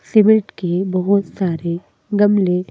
cement के बहुत सारे गमले--